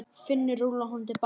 Finnur rúllaði honum til baka.